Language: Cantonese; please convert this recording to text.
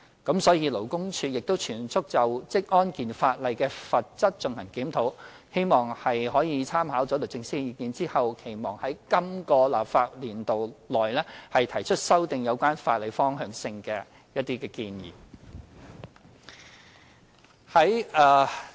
因此，勞工處亦正全速就職安健法例的罰則進行檢討，希望在參考律政司的意見後，在今個立法年度內提出一些修訂有關法例的方向性建議。